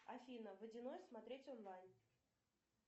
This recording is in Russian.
афина водяной смотреть онлайн